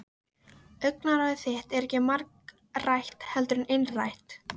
Augnaráð þitt er ekki margrætt heldur einrætt.